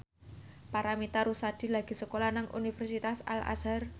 Paramitha Rusady lagi sekolah nang Universitas Al Azhar